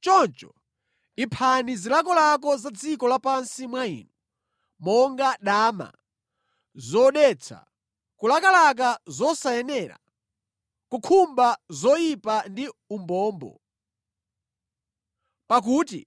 Choncho, iphani zilakolako za dziko lapansi mwa inu, monga: dama, zodetsa, kulakalaka zosayenera, kukhumba zoyipa ndi umbombo, pakuti